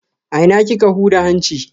A ina kika huda hanci?